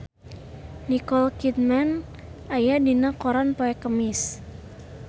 Nicole Kidman aya dina koran poe Kemis